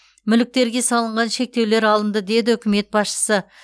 мүліктерге салынған шектеулер алынды деді үкімет басшысы